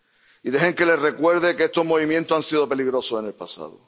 Y dejen que les recuerde que estos movimientos han sido peligrosos en el pasado.